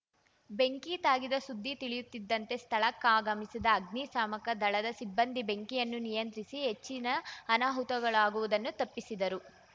ಬೆಂಕಿ ತಾಗಿದ ಸುದ್ದಿ ತಿಳಿಯುತ್ತಿದ್ದಂತೆ ಸ್ಥಳಕ್ಕಾಗಮಿಸಿದ ಅಗ್ನಿಶಾಮಕ ದಳದ ಸಿಬ್ಬಂದಿ ಬೆಂಕಿಯನ್ನು ನಿಯಂತ್ರಿಸಿ ಹೆಚ್ಚಿನ ಅನಾಹುತಗಳಾಗುವುದನ್ನು ತಪ್ಪಿಸಿದರು